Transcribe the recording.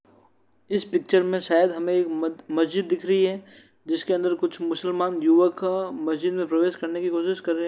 इस पिक्चर में शायद हमें मद मस्जिद दिख रही है। जिसमें कुछ मुसलमानी युवा का मस्जिद में प्रवेश करने की कोशिश कर रहे हैं।